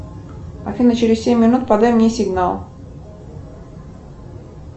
афина через семь минут подай мне сигнал